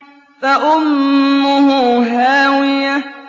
فَأُمُّهُ هَاوِيَةٌ